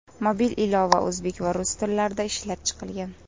Mobil ilova o‘zbek va rus tillarida ishlab chiqilgan.